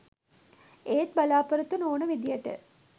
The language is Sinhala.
ඒත් බලාපොරොත්තු නොවුන විදිහට